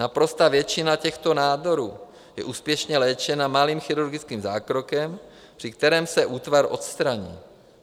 Naprostá většina těchto nádorů je úspěšně léčena malým chirurgickým zákrokem, při kterém se útvar odstraní.